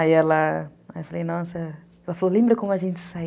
Aí ela... Aí eu falei, nossa... Ela falou, lembra como a gente saia